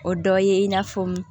O dɔ ye in n'a fɔ